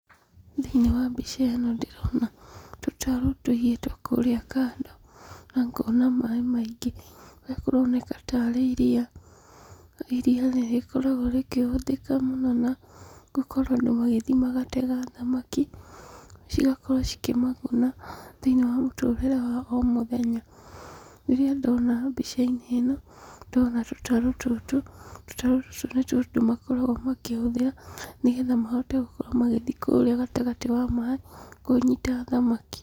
Thĩinĩ wa mbica ĩno ndĩrona tũtarũ tũigĩtwo kũrĩa kando na ngona maaĩ maingĩ, na kũroneka tarĩ iria. Iria nĩ rĩkoragwo rĩkĩhũthĩka mũno na gũkorwo andũ magĩthiĩ magatega thamaki, cigakorwo cikĩmaguna thĩinĩ wa mũtũrĩre wa o mũthenya. Rĩrĩa ndona mbica-inĩ ĩno ndona tũtarũ tũtũ, tũtarũ tũtũ nĩtuo andũ makoragwo makĩhũthĩra nĩ getha mahote gũkorwo magĩthiĩ kũrĩa gatagatĩ wa maĩ kũnyita thamaki.